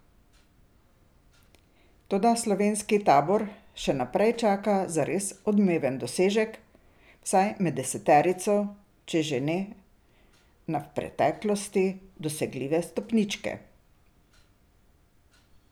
Toda slovenski tabor še naprej čaka zares odmeven dosežek, vsaj med deseterico, če že ne na v preteklosti dosegljive stopničke.